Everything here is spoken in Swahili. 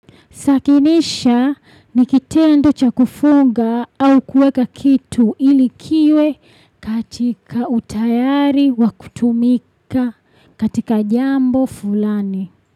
Sakinisha ni kitendo cha kufunga au kueka kitu ili kiwe katika utayari wa kutumika katika jambo fulani.